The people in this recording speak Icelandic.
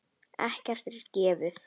Ekkert er gefið.